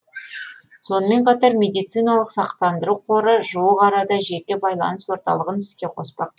сонымен қатар медициналық сақтандыру қоры жуық арада жеке байланыс орталығын іске қоспақ